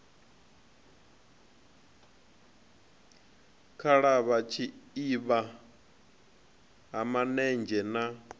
khalavha tshiavha ha manenzhe na